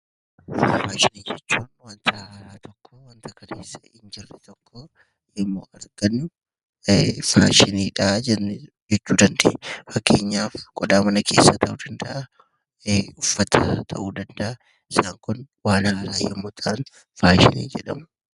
Faashinii jechuun wanta haaraa tokko gaafa argannu faashiniidha jennee waamuu dandeenya. Fakkeenyaaf qodaa mana keessaa qabnu ta'uu danda'a uffata ta'uu danda'a. Wantoonni waan haaraa gaafa ta'an faashinii jedhamu.